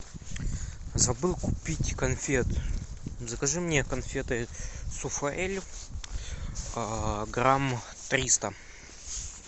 забыл купить конфет закажи мне конфеты суфаэль грамм триста